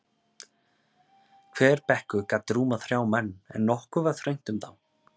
Hver bekkur gat rúmað þrjá menn, en nokkuð var þröngt um þá.